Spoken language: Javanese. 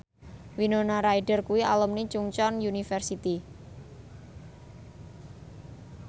Winona Ryder kuwi alumni Chungceong University